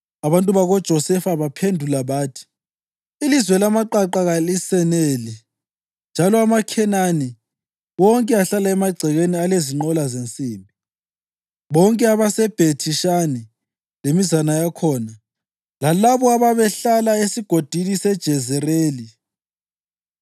Abantu bakoJosefa baphendula bathi, “Ilizwe lamaqaqa kaliseneli njalo amaKhenani wonke ahlala emagcekeni alezinqola zensimbi, bonke abaseBhethi-Shani lemizana yakhona lalabo ababehlala esigodini seJezerili.”